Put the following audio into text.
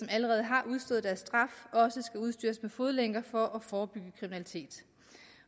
allerede har udstået deres straf også skal udstyres med fodlænker for at forebygge kriminalitet